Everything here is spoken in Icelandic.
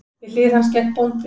Við hlið hans gekk bóndinn.